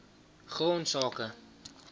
grondsake